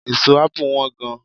Èso ápù Wọ́n gan